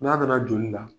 N'a nana joli la